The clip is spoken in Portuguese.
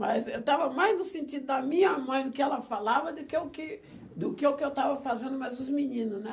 Mas eu eu estava mais no sentido da minha mãe, do que ela falava, do que o que do que o que eu estava fazendo mais os menino, né?